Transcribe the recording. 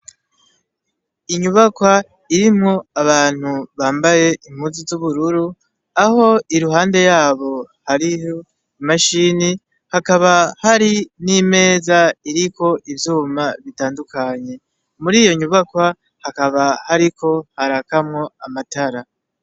Inyubakwa irimwo abantu bambaye impuzu z'ubururu aho iruhande yabo hariho imashini, hakaba hari n'imeza iriko ivyuma bitandukanye muriyo nyubakwa hakaba hariko hakamwo amatara .